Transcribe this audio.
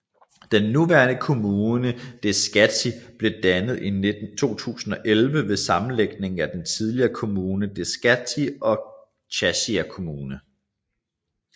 Den nuværende kommune Deskati blev dannet i 2011 ved sammenlægningen af den tidligere kommune Deskati og Chasia kommune